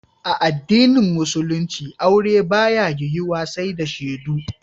A addinin musulinci aure ba ya yiwu wa sai da shedu